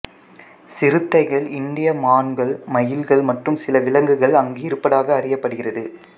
சிறுத்தைகள் இந்திய மான்கள் மயில்கள் மற்றும் சில விலங்குகள் அங்கு இருப்பதாக அறியப்படுகிறது